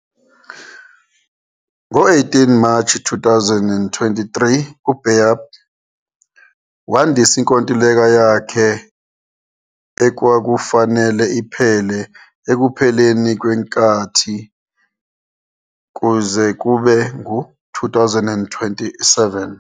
Ngo-18 March 2023, uBayдыр wandisa inkontileka yakhe, okwakufanele iphele ekupheleni kwenkathi, kuze kube ngu-2027.